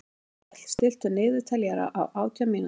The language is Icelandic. Grímkell, stilltu niðurteljara á átján mínútur.